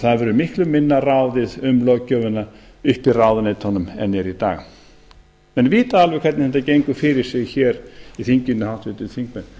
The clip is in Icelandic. það verður miklu minna ráðið um löggjöfina uppi í ráðuneytunum en er í dag menn vita alveg hvernig þetta gengur fyrir sig hér í þinginu háttvirtir þingmenn